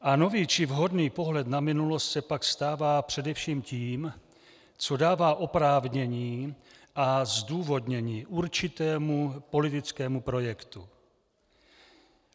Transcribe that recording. A nový či vhodný pohled na minulost se pak stává především tím, co dává oprávnění a zdůvodnění určitému politickému projektu.